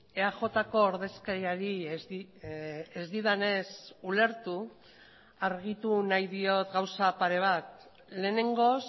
eajko ordezkariari ez didanez ulertu argitu nahi diot gauza pare bat lehenengoz